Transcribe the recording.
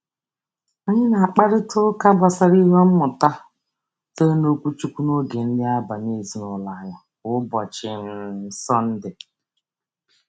Anyị na-akparịtaụka gbasara ihe mmụta sitere n’okwuchukwu n’oge nri abalị ezinaụlọ anyị kwa ụbọchị um Sọnde.